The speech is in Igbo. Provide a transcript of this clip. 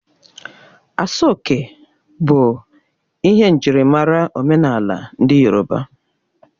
Aso oke bụ ihe njirimara omenala ndị yorọba.